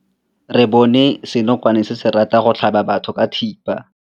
Re bone senokwane se se ratang go tlhaba batho ka thipa.